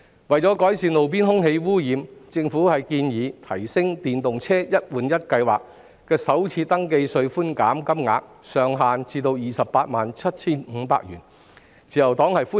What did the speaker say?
為改善路邊空氣污染問題，政府建議把電動車"一換一"計劃的首次登記稅寬免額上限提升至 287,500 元，自由黨對此表示歡迎。